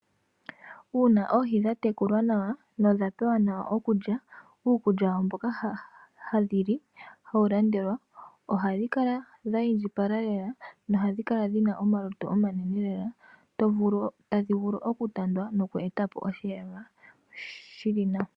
Uuna oohi dha tekulwa nawa nodha pewa nawa okulya uukulya wadho mboka hadhi li hawu landelwa ohadhi kala dhi indjipala lela nohadhi kala dhina omalutu omanena lela tadhi vulu okutandwa noku eta po oshiyelelwa shili nawa.